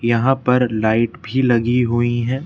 यहां पर लाइट भी लगी हुई है।